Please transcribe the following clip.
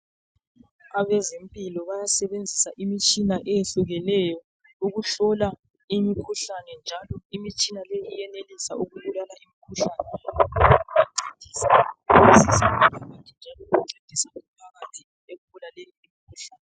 Abezempilo bayasebenzisa imitshina eyehlukeneyo ukuhlola imikhuhlane, njalo imitshina leyi iyenelisa ukubulala imikhuhlane ... njalo ukuncedisa umphakathi ekubulaleni imikhuhlane.